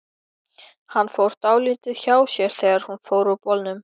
Hann fór dálítið hjá sér þegar hún fór úr bolnum.